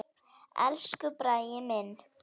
Elsku Bragi minn.